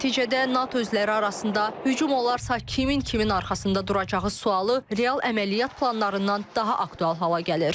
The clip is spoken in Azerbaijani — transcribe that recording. Nəticədə NATO üzvləri arasında hücum olarsa kimin kimin arxasında duracağı sualı real əməliyyat planlarından daha aktual hala gəlir.